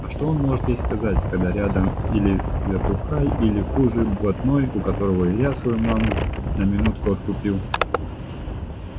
а что он может ей сказать когда рядом или вертухай или хуже блатной у которого илья свою маму на минутку откупил